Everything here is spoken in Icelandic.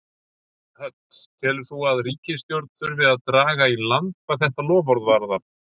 Hödd: Telur þú að í ríkisstjórn þurfi að draga í land hvað þetta loforð varðar?